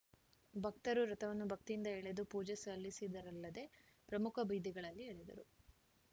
ಭಕ್ತರು ರಥವನ್ನು ಭಕ್ತಿಯಿಂದ ಎಳೆದು ಪೂಜೆ ಸಲ್ಲಿಸಿದರಲ್ಲದೆ ಪ್ರಮುಖ ಬೀದಿಗಳಲ್ಲಿ ಎಳೆದರು